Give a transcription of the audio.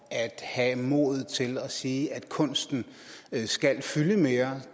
at have modet til at sige at kunsten skal fylde mere